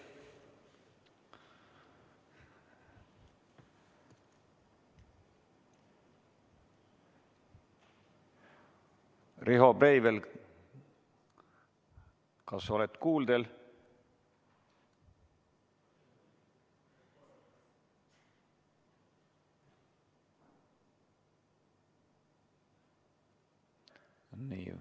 Riho Breivel, kas oled kuuldel?